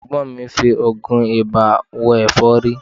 Ẹ̀gbọ́n mi ń fi oògùn ibà wo ẹ̀fọ́rí